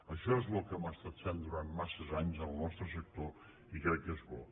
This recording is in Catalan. això és el que hem estat fent durant massa anys en el nostre sector i crec que és bo